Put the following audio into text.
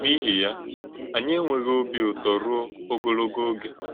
N’íhì̄ ya, ányị ènwè̄ghị̄ òbí ụ̀tọ́̄ rúó̄ ọ̀gòlọ̀gó̄ ògé.